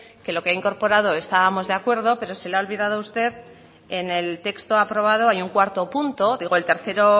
que lo que ha incorporado estábamos de acuerdo pero se le ha olvidado a usted en el texto aprobado hay un cuarto punto digo el tercero